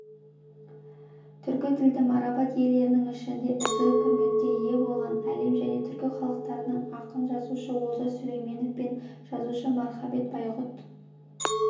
түркі тілді марапат иелерінің ішінде ізгі құрметке ие болған әлем және түркі халықтарының ақыны жазушы олжас сүлейменов пен жазушы мархабат байғұт